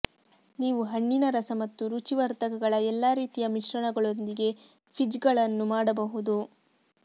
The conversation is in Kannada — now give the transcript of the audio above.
ನೀವು ಹಣ್ಣಿನ ರಸ ಮತ್ತು ರುಚಿ ವರ್ಧಕಗಳ ಎಲ್ಲಾ ರೀತಿಯ ಮಿಶ್ರಣಗಳೊಂದಿಗೆ ಫಿಜ್ಗಳನ್ನು ಮಾಡಬಹುದು